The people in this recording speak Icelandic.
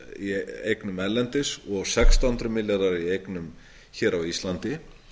í eignum erlendis og sextán hundruð milljarðar í eignum hér á íslandi